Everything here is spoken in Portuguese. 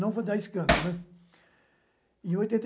Não foi dar escândalo, né? E em oitenta